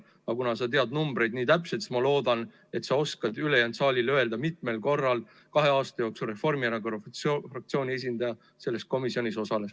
Aga kuna sa tead numbreid täpselt, siis ma loodan, et sa oskad ülejäänud saalile öelda, mitmel korral kahe aasta jooksul Reformierakonna fraktsiooni esindaja selle komisjoni töös osales.